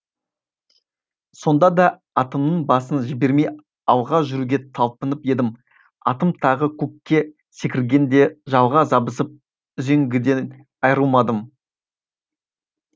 сонда да атымның басын жібермей алға жүруге талпынып едім атым тағы көкке секіргенде жалға жабысып үзеңгіден айрылмадым